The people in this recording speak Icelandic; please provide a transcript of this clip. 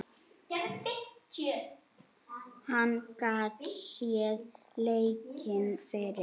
Hann gat séð leikinn fyrir.